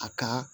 A ka